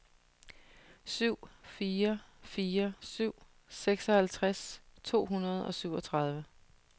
syv fire fire syv seksoghalvtreds to hundrede og syvogtredive